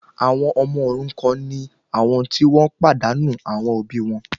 Àwọn ọmọ òrukan ni àwọn ti wọ́n pàdánù àwọn òbí wọn